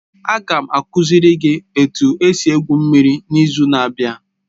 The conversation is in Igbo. Aga m akuziri gị etu esi egwu mmiri n'izu na-abịa.